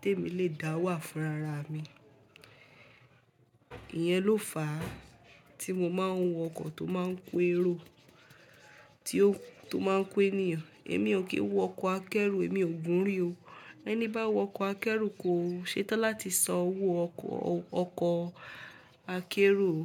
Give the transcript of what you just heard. tí èmi lè dá wà fún rara mi. Iyẹn ló fà á tí mo máa ń wọ ọkọ̀ tó máa ń kú ẹ̀ro, tí ó tó máa ń kú ènìyàn. Èmi ò kí wọ ọkọ̀ akẹ́rù, èmi ò gun rí o. Ẹni bá wọ ọkọ̀ akẹ́rù kò ṣetán láti san owó ọkọ̀, ọkọ̀ akẹ́rù o.